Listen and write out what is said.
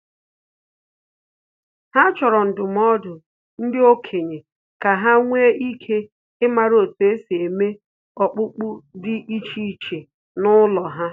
Ha chọrọ ndụmọdụ ndị okenye ka ha nwee ike ịmara otu esi eme okpukpe dị iche iche n'ụlọ ha